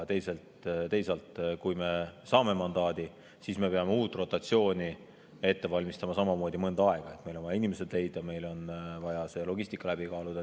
Teisalt, kui me saame mandaadi, siis me peame uut rotatsiooni samamoodi mõnda aega ette valmistama, meil on vaja inimesed leida, meil on vaja logistika läbi kaaluda.